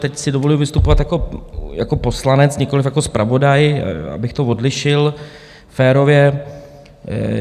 Teď si dovoluji vystupovat jako poslanec, nikoliv jako zpravodaj, abych to odlišil férově.